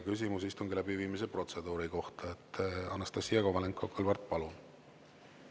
Küsimus istungi läbiviimise protseduuri kohta, Anastassia Kovalenko-Kõlvart, palun!